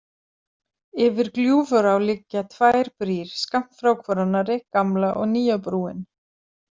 Yfir Gljúfurá liggja tvær brýr skammt frá hvor annarri, gamla og nýja brúin.